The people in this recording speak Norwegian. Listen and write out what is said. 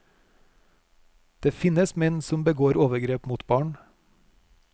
Det finnes menn som begår overgrep mot barn.